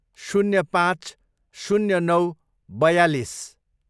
शून्य पाँच, शून्य नौ, बयालिस